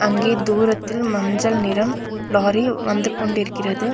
இங்கே தூரத்தில் மஞ்சள் நிறம் லாரி வந்து கொண்டிருக்கிறது.